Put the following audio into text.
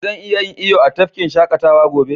Zan iya yin iyo a tafkin shakatawa gobe?